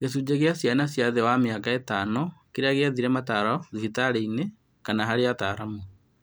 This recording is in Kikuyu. Gĩcunjĩ gĩa ciana cia thĩ wa mĩaka ĩtano kĩrĩa giethĩre mataro thibitarĩ kana harĩ ataaramu